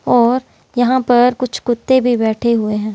और यहाँ पर कुछ कुत्ते भी बैठे हुए हैं।